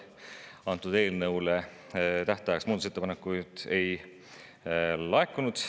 Antud eelnõu kohta tähtajaks muudatusettepanekuid ei laekunud.